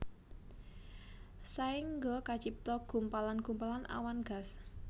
Saéngga kacipta gumpalan gumpalan awan gas